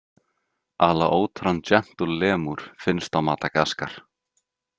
Alaotran Gentle Lemur Finnst á Madagaskar.